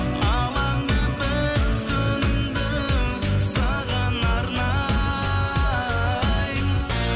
алаңдап бір түнді саған арнаймын